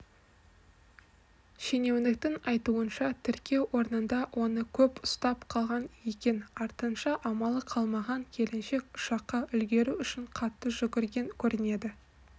шенеуніктің айтуынша тіркеу орнында оны көп ұстап қалған екен артынша амалы қалмаған келіншек ұшаққа үлгеру үшін қатты жүгірген көрінеді